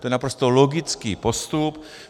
To je naprosto logický postup.